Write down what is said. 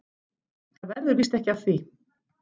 Það verður víst ekki af því.